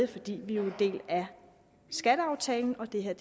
fordi vi er en del af skatteaftalen og det her